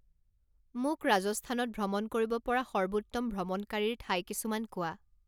মোক ৰাজস্থানত ভ্ৰমণ কৰিব পৰা সৰ্বোত্তম ভ্ৰমণকাৰীৰ ঠাই কিছুমান কোৱা